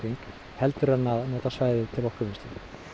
heldur en að nota þau til orkuvinnslu